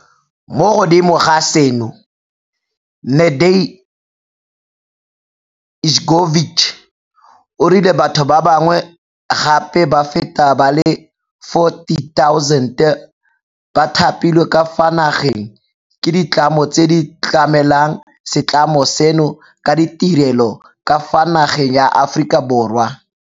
Mo godimo ga seno, Nede ljkovic o rile batho ba ba ngwe gape ba feta ba le 40 000 ba thapilwe ka fa nageng ke ditlamo tse di tlamelang se tlamo seno ka ditirelo ka fa nageng ya Aforika Borwa.